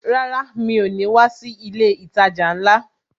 Rárá ,mi ò ní wá sí ilé ìtajà ńlá